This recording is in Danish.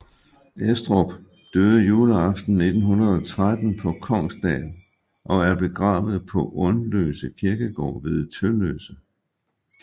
Estrup døde juleaften 1913 på Kongsdal og er begravet på Undløse Kirkegård ved Tølløse